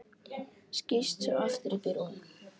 Skýst svo aftur upp í rúm.